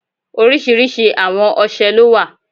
Oriṣiriṣi awon ọṣẹ lo wa